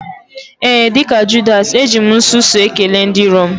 Ee, dịka Judasị, eji m nsusu ekele ndị iro m